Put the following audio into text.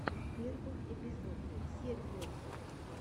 первый эпизод сергиос